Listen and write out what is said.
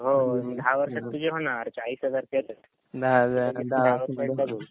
हो दहा वर्षात तुझे होणार चाळीस हजार ते